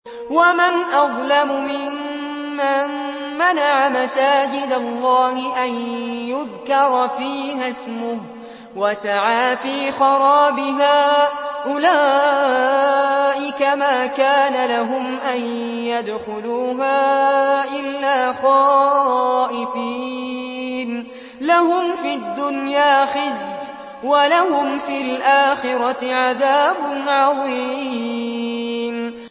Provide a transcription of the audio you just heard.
وَمَنْ أَظْلَمُ مِمَّن مَّنَعَ مَسَاجِدَ اللَّهِ أَن يُذْكَرَ فِيهَا اسْمُهُ وَسَعَىٰ فِي خَرَابِهَا ۚ أُولَٰئِكَ مَا كَانَ لَهُمْ أَن يَدْخُلُوهَا إِلَّا خَائِفِينَ ۚ لَهُمْ فِي الدُّنْيَا خِزْيٌ وَلَهُمْ فِي الْآخِرَةِ عَذَابٌ عَظِيمٌ